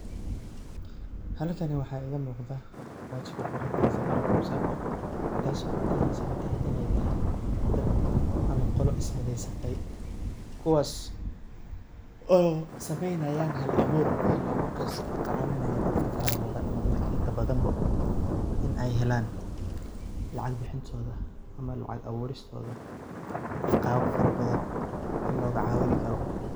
Halkan waa igamuqda baahal kuqorontahay safaricom sacco. Taso cadeneysa iney tahay dad ama qolo ismideysatay, kuwas oo sameynayan hal abur, hal aburkas oo kacawinayo dadka faraha badan ama dadka inta bada in ey helan lacag bicintoda ama lacag aburistoda qaab faro badan in logacawini karo.